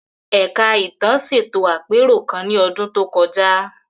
Ẹ̀ka Ìtàn ṣètò àpérò kan ní ọdún tó kọjá.